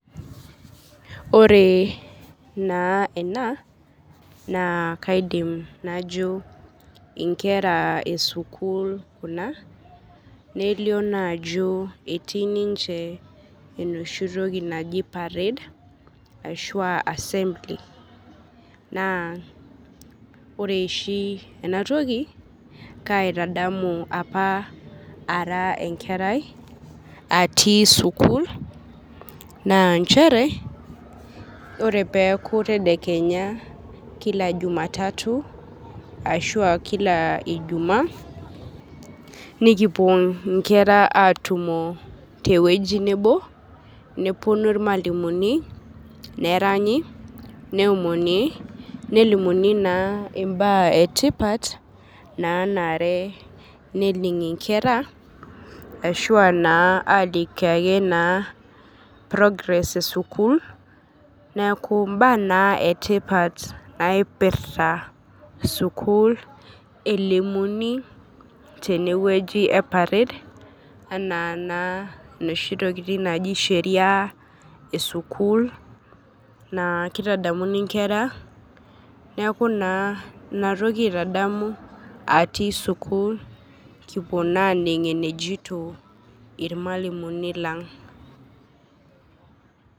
Oree naa ena naa kaidim najo inkera esukul kuna nelio naajo etii ninche enoshi toki naji  parade ashuaa assembly. Naa ore oshi enatoki kaitadamu apa ara enkerai atii sukul naa nchere ore peeku tadekenya kila jumatatu ashuaa kila ijumaa nikipuo inkera atumo tewueji nebo nepuonu ilmalimuni, neranyi, neomoni, nelimuni naa imbaa etipat naanare nening' inkera ashuaa naa aalikio ake naa progress esukul neaku imbaa naa etipat naipirta sukul elimuni tenewueji epared anaanaa noshi tokitin naji sheria esukul naa keitadamuni nkera, neaku naa inatoki aitadamu atii  sukul kipuo naaning' enejito ilmalimuni lang'.